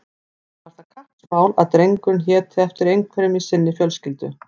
Henni var það kappsmál að drengurinn héti eftir einhverjum í sinni fjölskyldu.